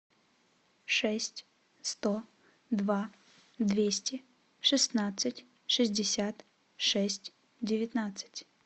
шесть сто два двести шестнадцать шестьдесят шесть девятнадцать